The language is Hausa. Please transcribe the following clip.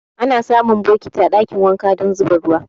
Ana samun bokiti a ɗakin wanka don zuba ruwa.